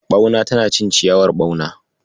Ɓauna tana cin ciyawar ɓauna..